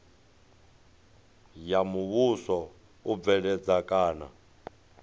ya muvhuso u bveledza kana